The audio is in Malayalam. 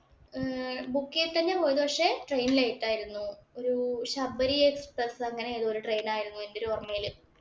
ഏർ Book ചെയ്തിട്ട് തന്നെയാ പോയത് പക്ഷേ train late ആയിരുന്നു. ഒരു ശബരി എക്സ്പ്രസ് അങ്ങനെ എന്തോ ഒരു train ആയിരുന്നു എന്‍റെ ഒരു ഓര്‍മ്മയില്.